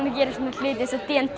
að gera svona hluti eins og d